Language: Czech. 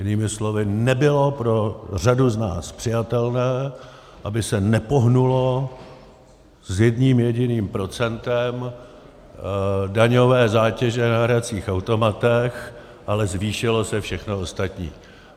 Jinými slovy, nebylo pro řadu z nás přijatelné, aby se nepohnulo s jedním jediným procentem daňové zátěže na hracích automatech, ale zvýšilo se všechno ostatní.